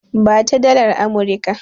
Ba ta dalar Amurika!